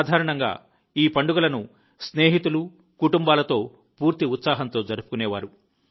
సాధారణంగా ఈ పండుగలను స్నేహితులు కుటుంబాలతో పూర్తి ఉత్సాహంతో జరుపుకునేవారు